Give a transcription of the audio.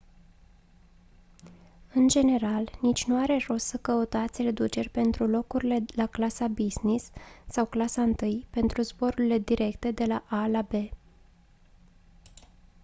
în general nici nu are rost să căutați reduceri pentru locurile la clasa business sau clasa i pentru zborurile directe de la a la b